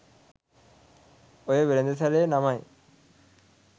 ඔය වෙළඳසැලේ නමයි